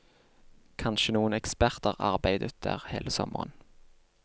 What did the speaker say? Kanskje noen eksperter arbeidet der hele sommeren.